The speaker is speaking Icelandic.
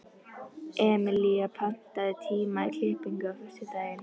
Emelía, pantaðu tíma í klippingu á föstudaginn.